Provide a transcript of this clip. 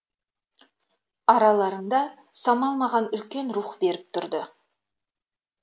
араларында самал маған үлкен рух беріп тұрды